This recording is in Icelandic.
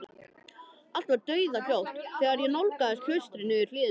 Allt var dauðahljótt þegar ég nálgaðist klaustrið niður hlíðina.